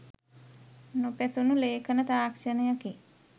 නොපැසුණු ලේඛන තාක්ෂණයකි.